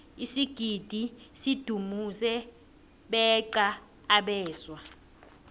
isigidi sidumuze beqa abeswa